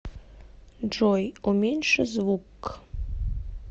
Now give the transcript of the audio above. джой уменьши звукк